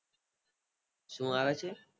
શું આવે છે